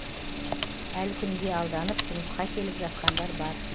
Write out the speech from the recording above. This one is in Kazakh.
әлі күнге алданып жұмысқа келіп жатқандар бар